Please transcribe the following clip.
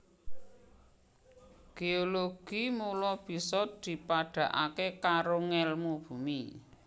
Géologi mula bisa dipadhakaké karo ngèlmu bumi